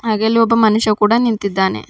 ಹಾಗೆ ಅಲ್ಲಿ ಒಬ್ಬ ಮನುಷ್ಯ ಕೂಡ ನಿಂತಿದ್ದಾನೆ.